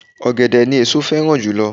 Ọ̀gẹ̀dẹ̀ ni èso féràn jùlo